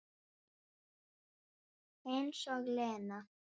Eins og Lena!